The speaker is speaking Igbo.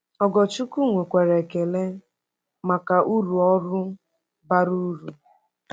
Ogorchukwu nwekwara ekele maka uru ọrụ bara uru.